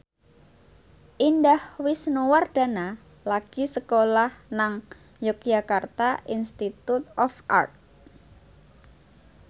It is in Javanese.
Indah Wisnuwardana lagi sekolah nang Yogyakarta Institute of Art